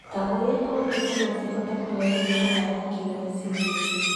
Ta ũrĩa kompiuta, no cihote kũrehe mĩnoga ya kĩmeciria.